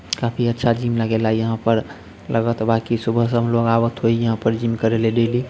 काफी अच्छा जिम लगेला यहाँ पर लगत बा कि सुबह सब जिम करेलेली ली|